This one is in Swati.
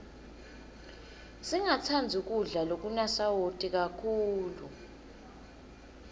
singatsandzi kudla lokunasawati kakhulu